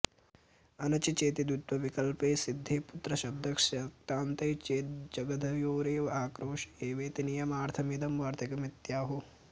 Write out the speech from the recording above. अनचि चेति द्वित्वविकल्पे सिद्धे पुत्रशब्दस्य क्तान्ते चेद्धतजग्धयोरेव आक्रोश एवेति नियमार्थमिदं वार्तिकमित्याहुः